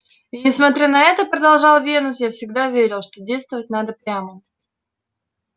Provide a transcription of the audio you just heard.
и несмотря на это продолжал венус я всегда верил что действовать надо прямо